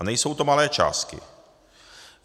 A nejsou to malé částky.